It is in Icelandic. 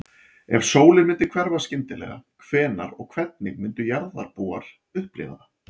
Ef sólin myndi hverfa skyndilega, hvenær og hvernig myndu jarðarbúar upplifa það?